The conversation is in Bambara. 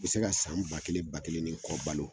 U bi se ka san ba kelen, ba kelen ni kɔ balo